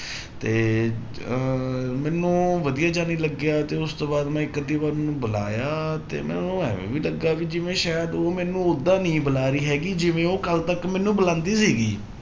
ਤੇ ਅਹ ਮੈਨੂੰ ਵਧੀਆ ਜਿਹਾ ਨੀ ਲੱਗਿਆ ਤੇ ਉਸ ਤੋਂ ਬਾਅਦ ਮੈਂ ਇੱਕ ਅੱਧੀ ਵਾਰ ਉਹਨੂੰ ਬੁਲਾਇਆ ਤੇ ਮੈਨੂੰ ਇਵੇਂ ਵੀ ਲੱਗਾ ਵੀ ਜਿਵੇਂ ਸ਼ਾਇਦ ਉਹ ਮੈਨੂੰ ਓਦਾਂ ਨੀ ਬੁਲਾ ਰਹੀ ਹੈਗੀ ਜਿਵੇਂ ਉਹ ਕੱਲ੍ਹ ਤੱਕ ਮੈਨੂੰ ਬੁਲਾਉਂਦੀ ਸੀਗੀ।